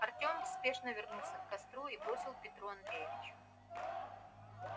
артём спешно вернулся к костру и бросил петру андреевичу